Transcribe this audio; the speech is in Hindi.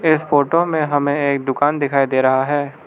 इस फोटो में हमें एक दुकान दिखाई दे रहा है।